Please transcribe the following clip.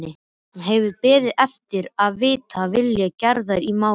Hann hefur beðið eftir að vita vilja Gerðar í málinu.